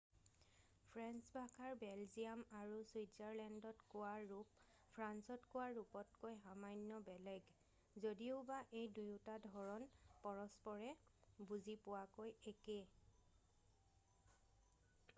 French ভাষাৰ Belgium আৰু চুইৎজাৰলেণ্ডত কোৱা ৰূপ ফ্ৰান্সত কোৱা ৰূপতকৈ সামান্য বেলেগ যদিওবা এই দুয়োটা ধৰণ পৰস্পৰে বুজি পোৱাকৈ একে